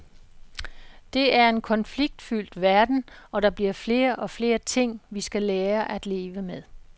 Det er en konfliktfyldt verden, og der bliver flere og flere ting, vi skal lære at leve med.